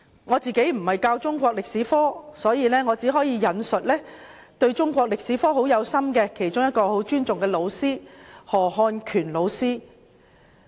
我並非教授中史科，所以只可引述一位心繫中國歷史並備受尊重的老師——何漢權老師。